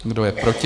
Kdo je proti?